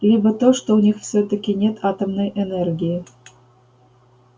либо то что у них всё-таки нет атомной энергии